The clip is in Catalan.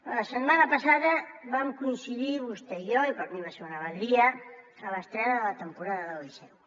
la setmana passada vam coincidir vostè i jo i per a mi va ser una alegria a l’estrena de la temporada del liceu